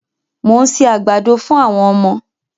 Mo ń se àgbàdo fún àwọm ọmọ.